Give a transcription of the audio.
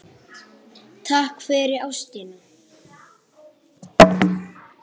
Takk fyrir ástina.